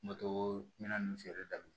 ninnu feereli daminɛ